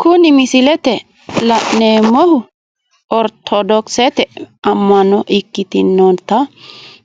Kuni misilete la'neemohu oritodokisete ama'no ikkitinotta